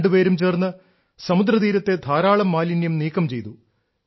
രണ്ടുപേരും ചേർന്ന് സമുദ്രതീരത്തെ ധാരാളം മാലിന്യം നീക്കം ചെയ്തു